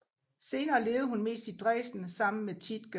Senere levede hun mest i Dresden sammen med Tiedge